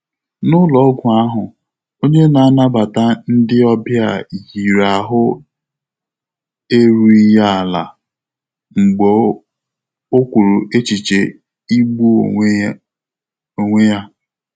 N’ụ́lọ́ọ́gwụ́ áhụ́, ọ́nyé nà-ànàbàtà ndị́ ọ́bị̀à yìrì áhụ́ érúghị́ yá álá mgbè ọ́ kwùrù échíché ígbú ónwé ónwé yá.